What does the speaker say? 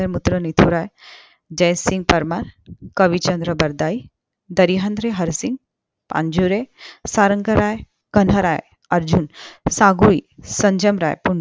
मित्र मिथुराय जयसिंग परमार कविचंद्र बारदाई दहिहंद्रा हरसिंह पांजुरे सारंगरायकान्हराय अर्जुन साफूली संजमराय